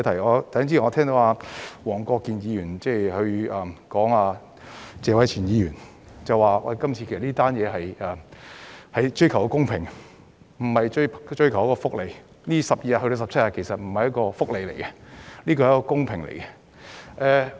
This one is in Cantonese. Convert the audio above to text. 我剛才聽到黃國健議員回應謝偉銓議員時表示，這次修例其實是追求公平，而不是追求福利，法定假日由12天增至17天並非福利問題，而是公平問題。